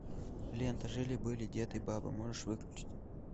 лента жили были дед и баба можешь выключить